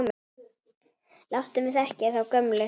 Láttu mig þekkja þá gömlu!